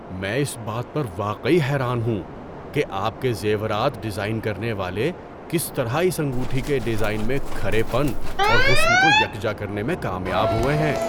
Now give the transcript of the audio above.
میں اس بات پر واقعی حیران ہوں کہ آپ کے زیورات ڈیزائن کرنے والے کس طرح اس انگوٹھی کے ڈیزائن میں کھرے پن اور حسن کو یکجا کرنے میں کامیاب ہوئے ہیں۔